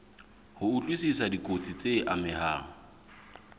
ho utlwisisa dikotsi tse amehang